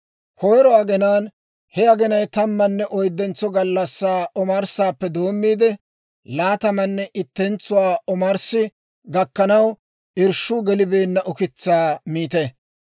Koyro aginaan, he aginaw tammanne oyddentso gallassaa omarssaappe doommiide, laatamanne ittentsuwaa omarssi gakkanaw irshshuu gelibeenna ukitsaa miite.